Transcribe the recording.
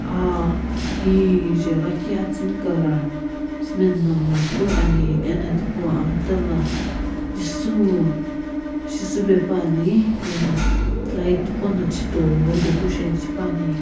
Aa kije lakhi atsuni colour cement na mlakeu ani ena tipau mta la jisuwu shisupe ena light qo no chhitoi decoration shipuani.